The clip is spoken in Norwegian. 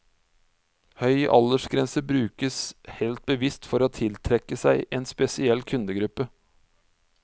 Høy aldersgrense brukes helt bevisst for å tiltrekke seg en spesiell kundegruppe.